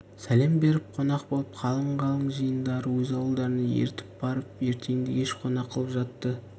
сәлем беріп қонақ болып қалың-қалың жиындарды өз ауылдарына ертіп барып ертеңді-кеш қонақ қылып жатты